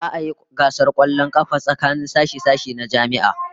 Za'a yi gasar kwallon kafa tsakanin sashe-sashe na jami'a